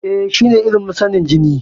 E, shine ilimin sanin jini.